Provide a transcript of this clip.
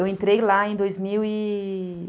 Eu entrei lá em dois mil e...